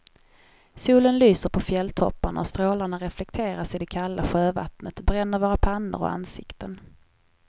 Solen lyser på fjälltopparna och strålarna reflekteras i det kalla sjövattnet, bränner våra pannor och ansikten.